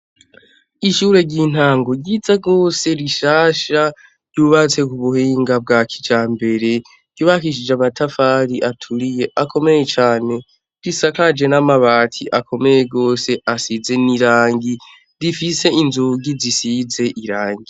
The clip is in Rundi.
Ishure ry'intango ryiza rwose rishasha ryubatse ku buhinga bwa kija mbere ribakishije amatafari aturiye akomeye cane risakaje n'amabati akomeye gose asize n'irangi rifise inzugi zisize irangi.